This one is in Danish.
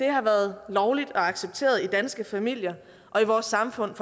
har været lovligt og accepteret i danske familier og i vores samfund